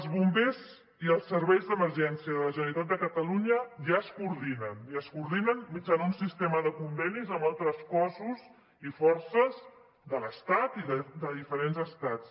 els bombers i els serveis d’emergència de la generalitat de catalunya ja es coordinen i es coordinen mitjançant un sistema de convenis amb altres cossos i forces de l’estat i de diferents estats